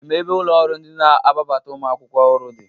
Ị maa ebe ụlọ ọrụ ndị na-ababata ụmụ akwụkwọ ọhụrụ dị?